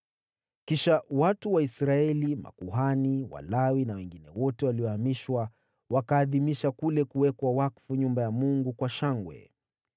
Kisha watu wa Israeli: makuhani, Walawi na wengine wote waliohamishwa, wakaadhimisha kule kuwekwa wakfu nyumba ya Mungu kwa shangwe.